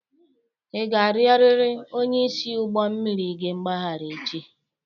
Ị ga-arịọrịrị onyeisi ụgbọ mmiri gị mgbaghara echi!